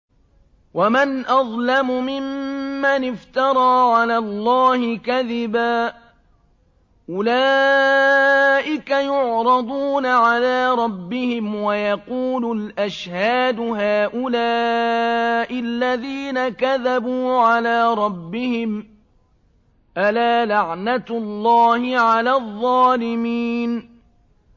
وَمَنْ أَظْلَمُ مِمَّنِ افْتَرَىٰ عَلَى اللَّهِ كَذِبًا ۚ أُولَٰئِكَ يُعْرَضُونَ عَلَىٰ رَبِّهِمْ وَيَقُولُ الْأَشْهَادُ هَٰؤُلَاءِ الَّذِينَ كَذَبُوا عَلَىٰ رَبِّهِمْ ۚ أَلَا لَعْنَةُ اللَّهِ عَلَى الظَّالِمِينَ